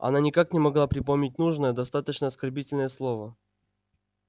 она никак не могла припомнить нужное достаточно оскорбительное слово